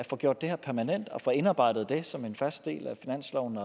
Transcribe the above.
få gjort det her permanent og få det indarbejdet som en fast del af finansloven